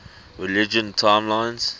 religion timelines